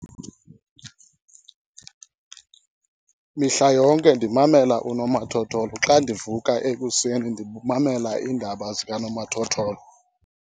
Mihla yonke ndimamela unomathotholo. Xa ndivuka ekuseni ndimamela iindaba zikanomathotholo.